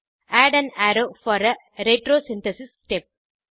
add an arrow for a retrosynthesis step